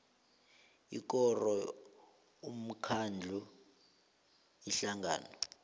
ikoro umkhandlu ihlangano